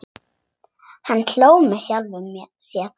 Hann hló með sjálfum sér.